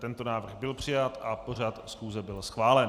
Tento návrh byl přijat a pořad schůze byl schválen.